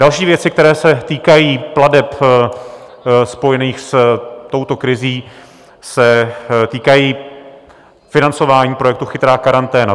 Další věci, které se týkají plateb spojených s touto krizí, se týkají financování projektu Chytrá karanténa.